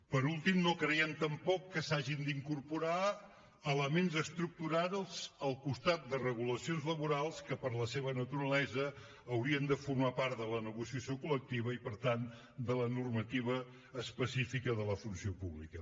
per últim no creiem tampoc que s’hagin d’incorporar elements estructurals al costat de regulacions laborals que per la seva naturalesa haurien de formar part de la negociació col·lectiva i per tant de la normativa específica de la funció pública